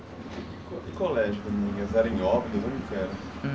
E colégio para as meninas, era Óbidos onde é que era?